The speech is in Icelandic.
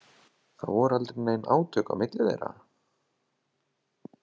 Það voru aldrei nein átök á milli þeirra?